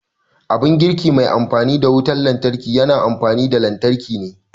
Abun girki mai amfani da wutar lantarki yana amfani da lantarki ne